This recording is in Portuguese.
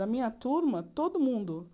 Da minha turma, todo mundo